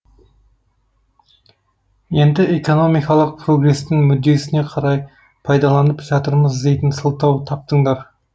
енді экономикалық прогрестің мүддесіне қарай пайдаланып жатырмыз дейтін сылтау таптыңдар